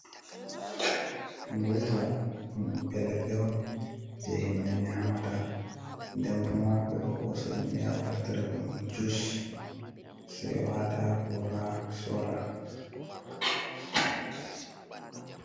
Goiva ɗum ɓiɓɓe leɗɗe on je himɓe nyamata. Nden bo ma ɓeɗo hosa ɗum ya wartira ɗum jus sei wata ha gora sora.